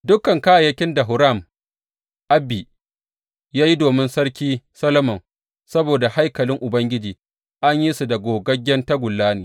Dukan kayayyakin da Huram Abi ya yi domin Sarki Solomon saboda haikalin Ubangiji an yi su da gogaggen tagulla ne.